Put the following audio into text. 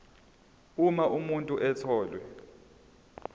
uma umuntu etholwe